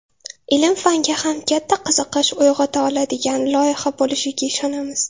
ilm-fanga ham katta qiziqish uyg‘ota oladigan loyiha bo‘lishiga ishonamiz.